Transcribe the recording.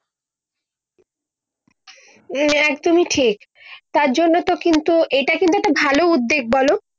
একদমই ঠিক তার জন্যও তো কিন্তু এটা কিন্তু একটা ভালো উদ্যেগ বলো।